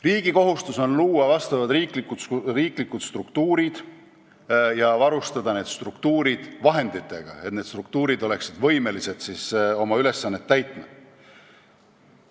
Riigi kohustus on luua riiklikud struktuurid ja varustada need vahenditega, et nad oleksid võimelised oma ülesannet täitma.